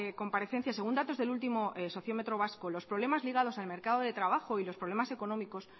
comparecencia según datos del último sociómetro vasco los problemas ligados al mercado de trabajo y los problemas económicos